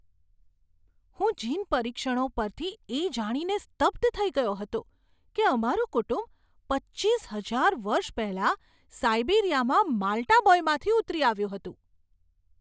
હું જીન પરીક્ષણો પરથી એ જાણીને સ્તબ્ધ થઈ ગયો હતો કે અમારું કુટુંબ પચ્ચીસ હજાર વર્ષ પહેલાં સાઈબિરીયામાં માલ્ટા બોયમાંથી ઉતરી આવ્યું હતું.